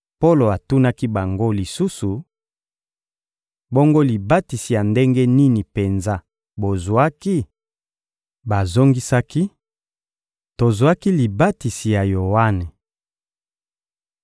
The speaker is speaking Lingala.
Polo atunaki bango lisusu: — Bongo libatisi ya ndenge nini penza bozwaki? Bazongisaki: — Tozwaki libatisi ya Yoane.